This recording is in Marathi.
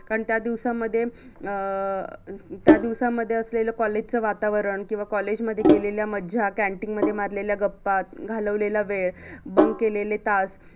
त्या दिवसांमध्ये अं त्या दिवसांमध्ये असेलेल college च वातावरण किवा college मध्ये केलेल्या मज्जा canteen मध्ये मारलेल्या गप्पा घालवलेला वेळ bunk केलेले तास